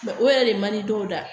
o yɛrɛ de man di dɔw la